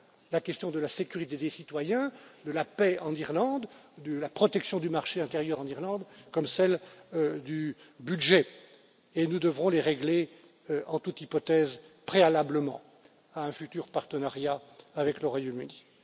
La question de la sécurité des citoyens, de la paix en Irlande, de la protection du marché intérieur en Irlande, comme celle du budget et nous devrons les régler en toute hypothèse, préalablement à un futur partenariat avec le Royaume Uni.